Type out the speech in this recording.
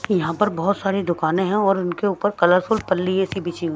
यहां पर बहुत सारी दुकाने हैं और उनके ऊपर कलरफुल पल्ली जैसी बिछी हुई--